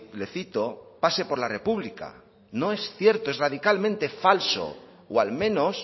le cito pase por la república no es cierto es radicalmente falso o al menos